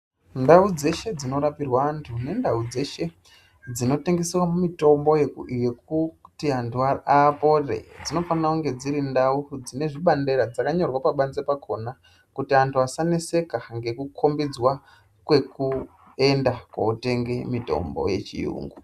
Ndau dzeshe dzinorapirwa antu nendau dzeshe dzinotengeswa mitombo yekuti antu apore dzinofana dzinezvibandeta dzakanyorwa pabanze pakona kuti antu asaneseka ngekukombidzwa kwekuenda kotenga mitombo yechiyungu.